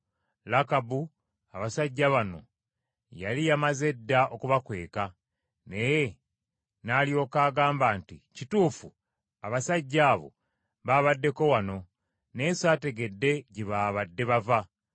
Lakabu abasajja bano yali yamaze dda okubakweka, naye n’alyoka agamba nti, “Kituufu abasajja abo baabaddeko wano naye saategedde gye baabadde bava.